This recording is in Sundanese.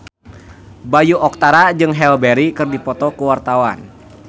Bayu Octara jeung Halle Berry keur dipoto ku wartawan